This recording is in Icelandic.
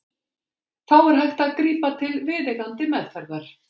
Þá er hægt að grípa til viðeigandi meðferðar.